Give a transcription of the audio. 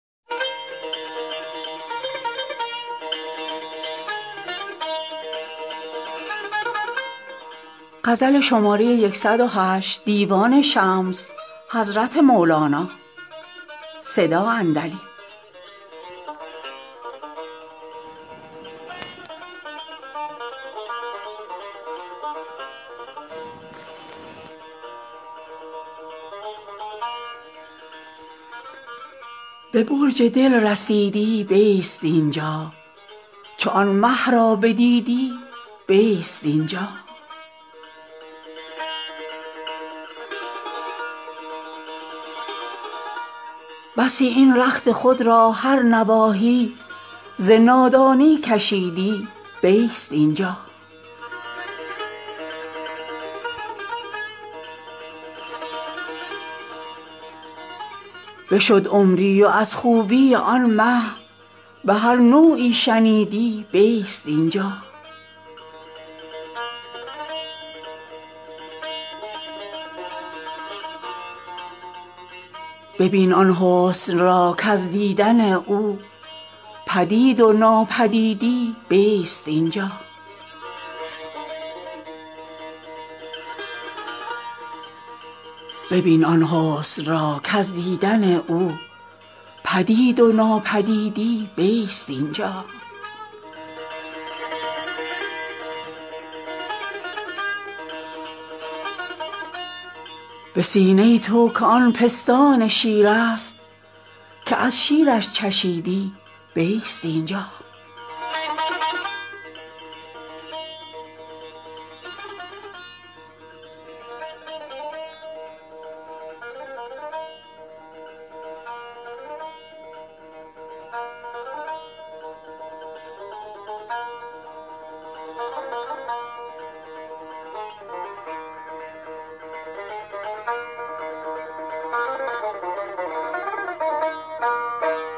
به برج دل رسیدی بیست این جا چو آن مه را بدیدی بیست این جا بسی این رخت خود را هر نواحی ز نادانی کشیدی بیست این جا بشد عمری و از خوبی آن مه به هر نوعی شنیدی بیست این جا ببین آن حسن را کز دیدن او بدید و نابدیدی بیست این جا به سینه تو که آن پستان شیرست که از شیرش چشیدی بیست این جا